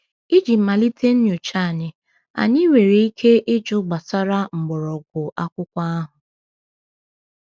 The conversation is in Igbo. Iji malite nyocha anyị, anyị nwere ike ịjụ gbasara mgbọrọgwụ akwụkwọ ahụ.